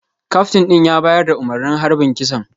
Kaftin din ya bayar da umarnin harbin kisan